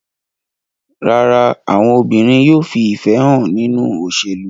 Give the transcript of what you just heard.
Rárá, àwọn obìnrin yóò fi ìfẹ́ hàn nínú òṣèlú.